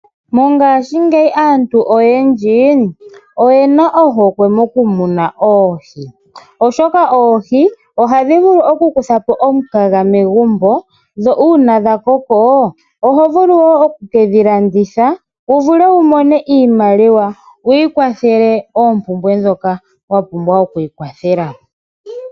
Mongashi ngeyi aantu oyendji oyena ohokwe mokumuna oohi, oshoka oohi ohadhi vulu oku kuthapo omukaga megumbo dho una dhakoko ohovulu wo oku kedhilanditha wuvule wumone iimaliwa wikwathele opumbwe ndhoka wapumbwa okwikwathela.